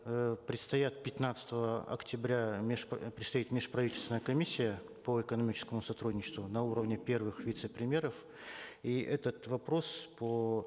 э предстоят пятнадцатого октября предстоит межправительственная комиссия по экономическому сотрудничеству на уровне первых вице премьеров и этот вопрос по